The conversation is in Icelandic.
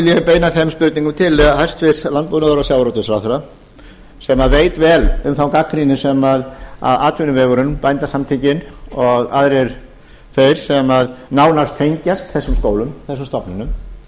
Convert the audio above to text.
ég beina þeim spurningum til hæstvirtrar landbúnaðar og sjávarútvegsráðherra sem veit vel um þá gagnrýni sem atvinnuvegurinn bændasamtökin og aðrir þeir sem nánast tengjast þessum stofnunum